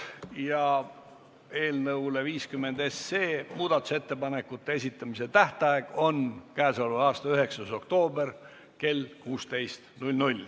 Ja eelnõu 50 kohta ettepanekute esitamise tähtaeg on k.a 9. oktoober kell 16.